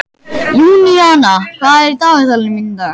Júníana, hvað er í dagatalinu mínu í dag?